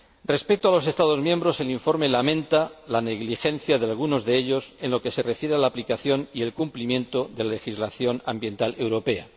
Respecto a los Estados miembros, el informe lamenta la negligencia de algunos de ellos en lo que se refiere a la aplicación y el cumplimiento de la legislación ambiental europea.